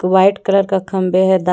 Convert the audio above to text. White colour का खम्बे है। दाई--